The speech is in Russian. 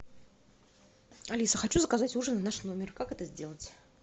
алиса хочу заказать ужин в наш номер как это сделать